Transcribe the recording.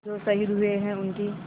जो शहीद हुए हैं उनकी